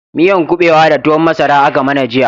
Miyan kubewa da tuwon masara aka mana jiya